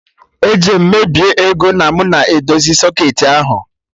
Eje m mebie ego na mụ na edozi socketị ahụ